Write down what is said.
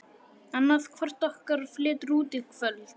Annaðhvort okkar flytur út í kvöld.